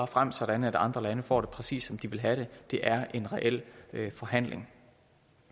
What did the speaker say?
frem sådan at andre lande får det præcis som de vil have det det er en reel forhandling